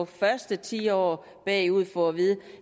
første ti år bagud få at vide